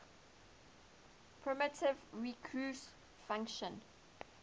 primitive recursive function